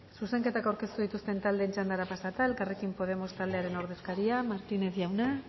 zuzenketa aurkeztu dituzten taldeen txandara pasata elkarrekin podemos taldearen ordezkaria martínez jauna